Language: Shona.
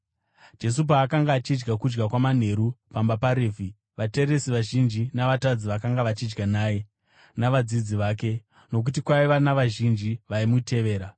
Jesu paakanga achidya kudya kwamanheru pamba paRevhi, vateresi vazhinji na“vatadzi” vakanga vachidya naye, navadzidzi vake, nokuti kwaiva navazhinji vaimutevera.